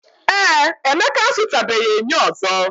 Ee, Emeka azutabeghi enyo ozo.